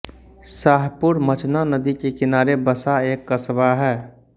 शाहपुरमचना नदी के किनारे बसा एक कस्बा है